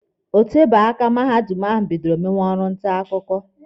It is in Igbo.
O tebeghị aka mahadum ahụ bidoro ime orụ nta akwụkwọ.